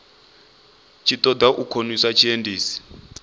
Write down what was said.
tshi ṱoḓa u khonisa tshiendisi